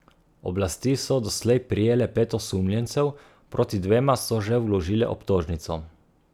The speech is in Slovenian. Oblasti so doslej prijele pet osumljencev, proti dvema so že vložile obtožnico.